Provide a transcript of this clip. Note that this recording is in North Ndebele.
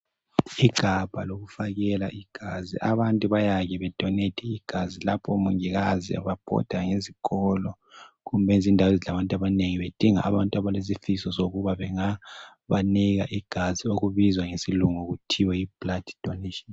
Igabha lokufakela igazi abantu bayake be donethe igazi. Lapho omongikazi ababhoda ngezikolo kumbe izindawo ezilabantu abanengi .Bedinga abantu abalesifiso sokuba bengabanika igazi okubizwa ngesilungu kuthiwa yiblooddonation.